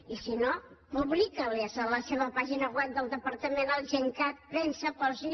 i si no publiqui les a la seva pàgina web del departament al gencat premsa posi hi